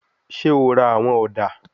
Ṣe o ra awọn oda?